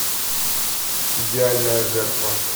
идеальная жертва